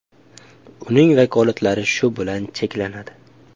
Uning vakolatlari shu bilan cheklanadi.